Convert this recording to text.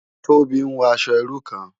Tobi n wò aṣò irú kán